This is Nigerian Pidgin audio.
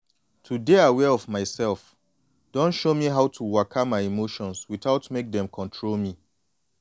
to dey aware of myself don show me how to waka my emotions without mek dem control me.